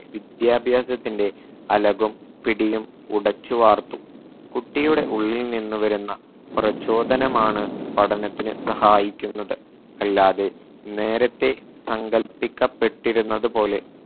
വിദ്യാഭ്യാസത്തിന്റെ അലകും പിടിയും ഉടച്ചു വാർത്തു കുട്ടിയുടെ ഉള്ളിൽ നിന്ന് വരുന്ന പ്രചോദനമാണ് പഠനത്തിന് സഹായിക്കുന്നത് അല്ലാതെ നേരത്തെ സങ്കല്പിക്കപ്പെട്ടിരുന്നത് പോലെ